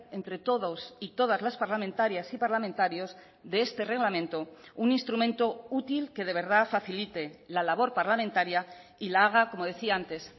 entre todos y todas las parlamentarias y parlamentarios de este reglamento un instrumento útil que de verdad facilite la labor parlamentaria y la haga como decía antes